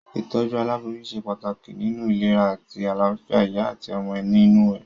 Ìtójú aláboyún se pàtàkì nínu ìlera àti àláfìa ìyá àti ọmọ inú rè